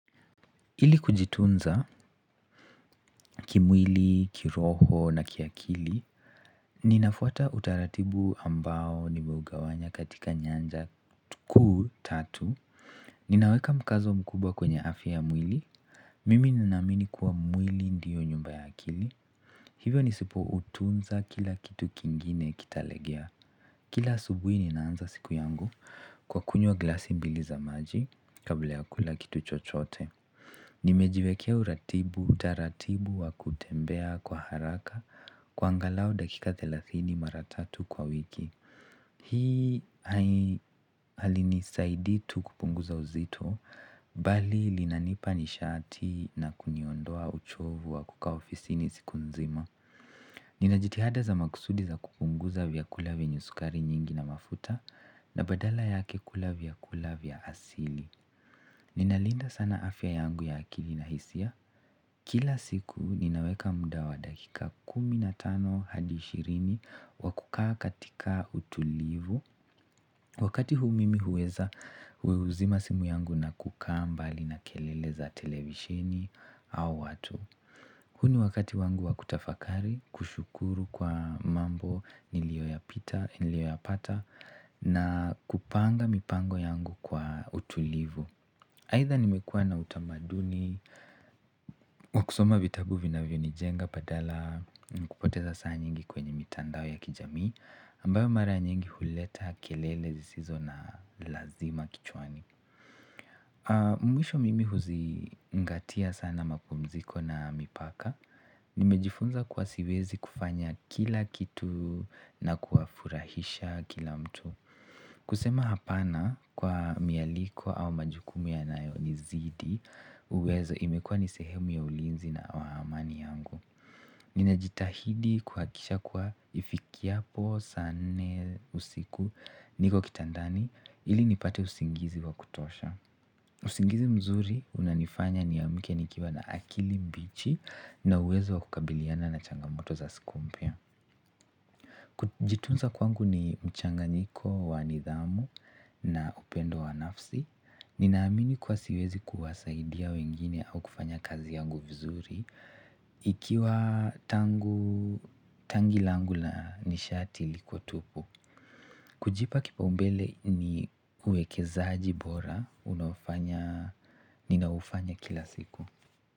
Ili kujitunza kimwili, kiroho na kiakili, ninafuata utaratibu ambao nimeugawanya katika nyanja kuu tatu. Ninaweka mkazo mkubwa kwenye afya mwili. Mimi ninaamini kuwa mwili ndiyo nyumba ya akili. Hivyo nisipoutunza kila kitu kingine kitalegea. Kila asubuhi ninaanza siku yangu kwa kunywa glasi mbili za maji kabla ya kula kitu chochote. Nimejiwekea uratibu taratibu wa kutembea kwa haraka kwa angalau dakika thelathini mara tatu kwa wiki hii halinisaidi tu kupunguza uzito bali linanipa nishati na kuniondoa uchovu wa kukaa ofisini siku nzima nina jitihada za makusudi za kupunguza vyakula vyenye sukari nyingi na mafuta na badala yake kula vyakula vyakula vya asili. Ninalinda sana afya yangu ya akili na hisia kila siku ninaweka muda wa dakika kumi na tano hadi ishirini wa kukaa katika utulivu wakati huu mimi huweza huzima simu yangu na kukaa mbali na kelele za televisheni au watu huu ni wakati wangu wa kutafakari kushukuru kwa mambo nilioyapita nilioyapata na kupanga mipango yangu kwa utulivu aidha nimekuwa na utamaduni wa kusoma vitabu vinavyonijenga badala ya kupoteza saa nyingi kwenye mitandao ya kijamii ambayo mara nyingi huleta kelele zisizo na lazima kichwani. Mwisho mimi huzingatia sana mapumziko na mipaka. Nimejifunza kuwa siwezi kufanya kila kitu na kuwafurahisha kila mtu kusema hapana kwa mialiko au majukumu yanayonizidi uwezo imekua ni sehemu ya ulinzi na wa amani yangu ninajitahidi kuhakisha kuwa ifikiapo saa nne usiku niko kitandani ili nipate usingizi wa kutosha usingizi mzuri unanifanya niamke nikiwa na akili mbichi na uwezo wa kukabiliana na changamoto za siku mpya kujitunza kwangu ni mchanganyiko wa nidhamu na upendo wa nafsi ninaamini kuwa siwezi kuwasaidia wengine au kufanya kazi yangu vizuri ikiwa tanki langu na nishati liko tupu kujipa kipaumbele ni uwekezaji bora. Ninaufanya kila siku.